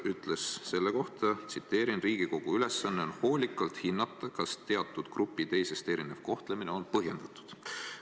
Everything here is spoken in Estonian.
Õiguskantsler ütles selle kohta: "Riigikogu ülesanne on hoolikalt hinnata, kas teatud grupi teisest erinev kohtlemine on põhjendatud.